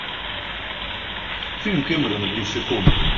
фильм кэмерона где все тонут